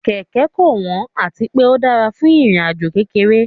Kẹ̀kẹ́ kò wọ́n àti pé ó dára fún ìrìn àjò kékeré